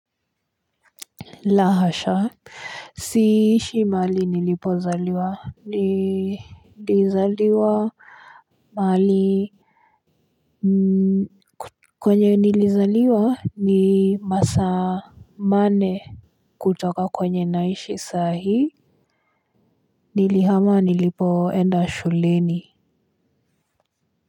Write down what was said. Lahasha. Siishi maali nilipozaliwa. Nilizaliwa. Maali kwenye nilizaliwa ni masamane. Kutoka kwenye naishi sahi. Nilihama nilipoenda shuleni.